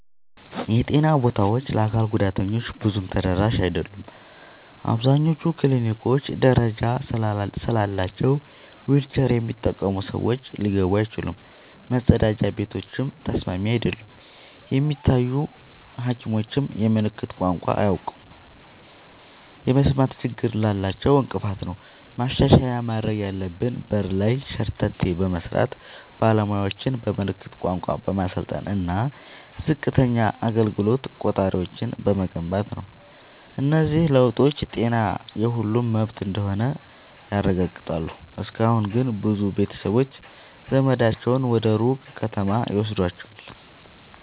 የጤና ቦታዎች ለአካል ጉዳተኞች ብዙም ተደራሽ አይደሉም። አብዛኞቹ ክሊኒኮች ደረጃ ስላላቸው ዊልቸር የሚጠቀሙ ሰዎች ሊገቡ አይችሉም፤ መጸዳጃ ቤቶችም ተስማሚ አይደሉም። የሚታዩ ሐኪሞችም የምልክት ቋንቋ አያውቁም፣ ይህም የመስማት ችግር ላላቸው እንቅፋት ነው። ማሻሻያ ማድረግ ያለብን በር ላይ ሸርተቴ በመስራት፣ ባለሙያዎችን በምልክት ቋንቋ በማሰልጠን እና ዝቅተኛ አገልግሎት ቆጣሪዎችን በመገንባት ነው። እነዚህ ለውጦች ጤና የሁሉም መብት እንደሆነ ያረጋግጣሉ። እስካሁን ግን ብዙ ቤተሰቦች ዘመዳቸውን ወደ ሩቅ ከተማ ይወስዷቸዋል።